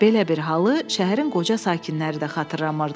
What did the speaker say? Belə bir halı şəhərin qoca sakinləri də xatırlamırdılar.